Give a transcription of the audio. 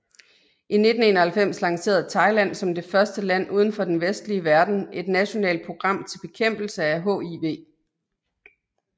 I 1991 lancerede Thailand som det første land udenfor den vestlige verden et nationalt program til bekæmpelse af HIV